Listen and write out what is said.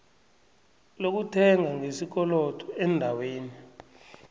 lokuthenga ngesikolodo eendaweni